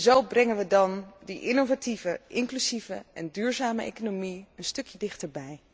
Zo brengen we dan die innovatieve, inclusieve en duurzame economie een stukje dichterbij.